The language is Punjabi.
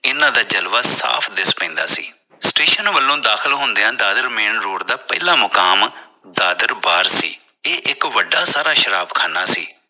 ਇਨ੍ਹਾਂ ਦਾ ਜਲਵਾ ਸਾਫ ਦਿਸ ਪੈਂਦਾ ਸੀ ਸਟੇਸ਼ਨ ਵੱਲੋਂ ਦਾਖਲ ਹੁੰਦਿਆ ਦਾਦਰ main road ਦਾ ਪਹਿਲਾਂ ਮੁਕਾਮ ਦਾਦਰ ਬਾਰ ਸੀ ਇਹ ਇਕ ਵੱਡਾ ਸ਼ਰਾਬਖਾਨਾ ਸੀ।